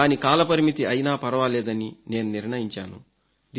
దాని కాల పరిమితి అయినా ఫర్వాలేదని నేను నిర్ణయించాను